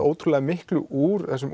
ótrúlega miklu útúr þessum